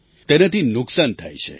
તેનાથી નુકસાન થાય છે